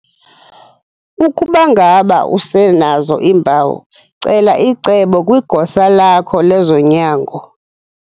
Ukuba ngaba usenazo iimpawu, cela icebo kwigosa lakho lezonyango.